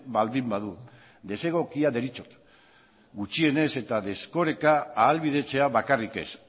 baldin badu desegokia deritzot gutxienez eta desoreka ahalbidetzea bakarrik ez